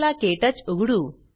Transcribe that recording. चला क्टच उघडू